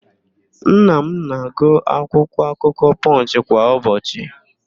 Nna m na-agụ akwụkwọakụkọ Pọnch kwa ụbọchị.